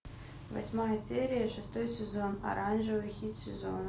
восьмая серия шестой сезон оранжевый хит сезона